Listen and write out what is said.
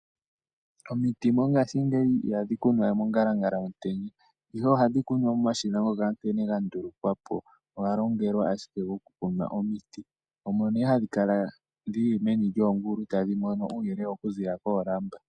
Omiti mongaashingeyi ihadhi kunwa we mongalangala yomutenya ihe ohadhi kunwa momashina ngoka nkene ga ndulukwa po oga longelwa ashike okukuna omiti, omo nee hadhi kala dhili meni lyoongulu tadhi mono uuyelele oku ziilila koolamba.